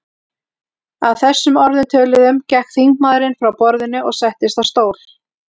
Að þessum orðum töluðum gekk þingmaðurinn frá borðinu og settist á stól.